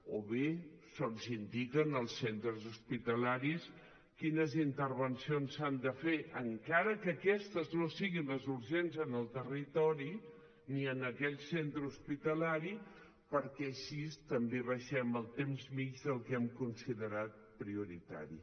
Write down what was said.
o bé se’ls indica als centres hospitalaris quines intervencions s’han de fer encara que aquestes no siguin les urgents en el territori ni en aquell centre hospitalari perquè així també abaixem el temps mitjà del que han considerat prioritari